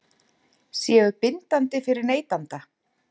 séu bindandi fyrir neytanda?